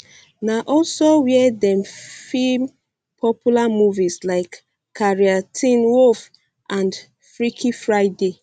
na also wia dem feem popular movies like carrie teen wolf and freaky friday